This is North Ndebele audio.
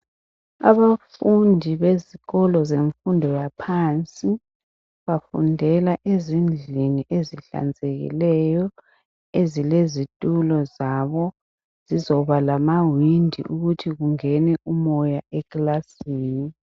Abafundi bezikolo zemfundo yaphansi bafundela ezindlini ezihlanzekileyo ezilezitulo zabo. Zizoba lama windi okuthiwa kungene umoya eclassini.